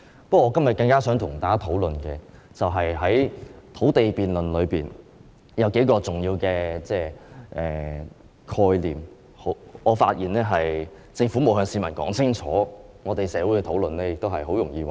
不過，我今天更想與大家討論的是在土地辯論中的數個重要的概念，而我發現政府並沒有向市民說清楚，社會討論時也很容易混淆。